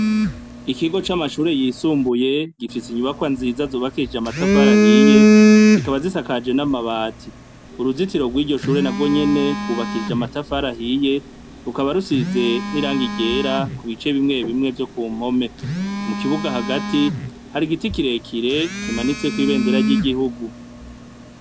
Ikigo camashure yisumbuye gifise inyubakwa nziza zubakishijwe amatafari ahiye zikaba zisakaje namabati uruzitiro rwiryoshure narwo nyene rwubakishijwe amatafari ahiye rukaba rusize nirangi ryera kubice bimwe bimwe vyo kumpome mukibuga hagati hari igiti kirekire kimatsiko ibendera ryigihugu